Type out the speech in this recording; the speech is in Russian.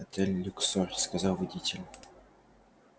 отель люксор сказал водитель